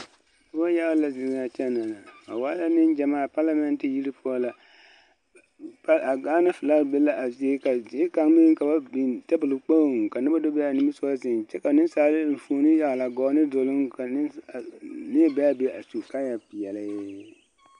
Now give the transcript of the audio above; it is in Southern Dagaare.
Neŋ yaga la zeŋ a kyɛna na ba waa neŋ gyamaa palamɛnte yiri poɔ la a Gaana filaki be la a zie ka zie kaŋ meŋ ka ba biŋ tebol kpoŋ ka noba do be a nimisɔgɔŋ zeŋ kyɛ ka nensaaleba enfuoni yagle a gɔɔ ne duluŋ ka neɛ be a be su kaaya peɛle.